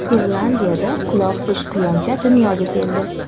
Irlandiyada quloqsiz quyoncha dunyoga keldi.